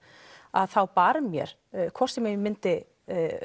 þá bar mér hvort sem ég myndi